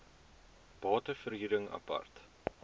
bate verhuring apart